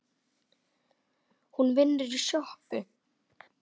Hún vinnur í sjoppu